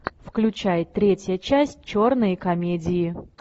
включай третья часть черные комедии